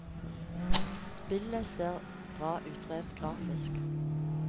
Spillet ser bra ut rent grafisk.